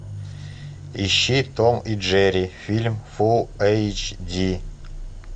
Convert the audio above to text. ищи том и джерри фильм фул эйч ди